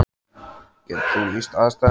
Getur þú lýst aðstæðum?